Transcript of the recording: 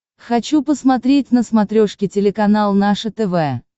хочу посмотреть на смотрешке телеканал наше тв